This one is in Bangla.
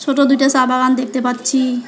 সোটো দুইটা সাবাগান দেখতে পাচ্ছি।